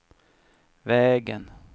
vägen